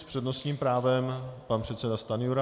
S přednostním právem pan předseda Stanjura.